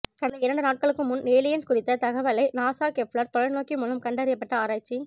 கடந்த இரண்டு நாட்களுக்கு முன் ஏலியன்ஸ் குறித்த தகவலை நாசா கெப்ளர் தொலைநோக்கி மூலம் கண்டறியப்பட்ட ஆராய்ச்சி